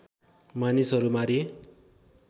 मानिसहरू मारिए